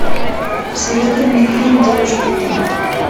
посоветуй мне фильм девушки и танки